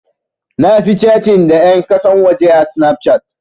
Na fi catin da ƴan ƙasan waje a Snapchat.